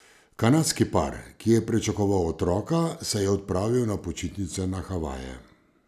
Kanadski par, ki je pričakoval otroka, se je odpravil na počitnice na Havaje.